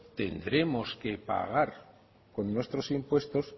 tendremos que pagar con nuestros impuestos